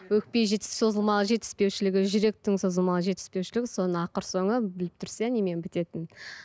өкпе созылмалы жетіспеушілігі жүректің созылмалы жетіспеушілігі соның ақыр соңы біліп тұрсыз иә немен бітетінін